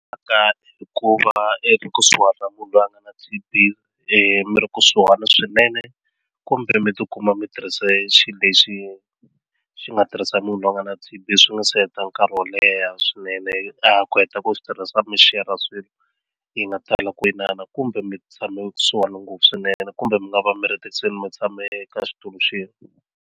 Ka hikuva ekusuhani na munhu loyi a nga na T_B mi ri kusuhana swinene kumbe mi ti kuma mi tirhise xilo lexi xi nga tirhisa munhu loyi a nga na T_B swi nga se heta nkarhi wo leha swinene a ha ku heta ku swi tirhisa mi share swilo yi nga tala ku kumbe mi tshame kusuhani ngopfu swinene kumbe mi nga va mi ri mi tshame ka xitulu xin'we.